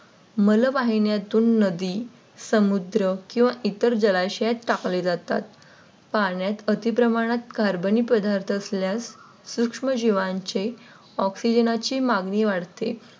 मल वाहिन्यातून नदी समुद्र किंवा इतर जलाशयात टाकले जातात. मलमूत्रपाण्यात अतिप्रमाणात Carbon पदार्थ असल्यास सूक्ष्मजीवांचे Oxygen चे मागणी वाढते.